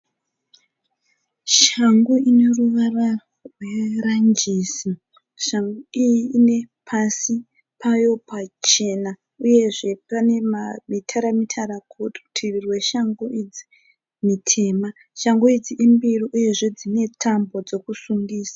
Shangu ine ruvara rweranjisi. Shangu iyi ine pasi payo pachena uyezve pane mitara mitara kurutivi kweshangu idzi mitema. Shangu idzi imbiri uyezve dzine tambo dzokusungisa.